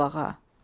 Sağ ol ağa.